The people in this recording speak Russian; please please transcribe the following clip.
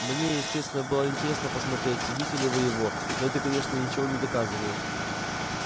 мне естественно было интересно посмотреть съедите ли вы его но это конечно ничего не доказывает